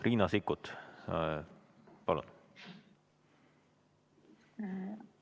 Riina Sikkut, palun!